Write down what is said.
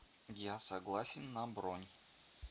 я согласен на бронь